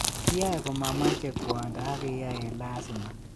Kiyae komameche kwondo ak keyae eng lasima